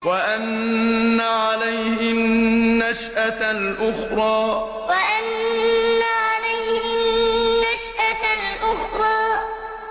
وَأَنَّ عَلَيْهِ النَّشْأَةَ الْأُخْرَىٰ وَأَنَّ عَلَيْهِ النَّشْأَةَ الْأُخْرَىٰ